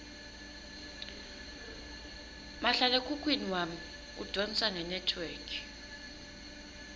mahlalekhukhwini wami udvonsa ngenetwork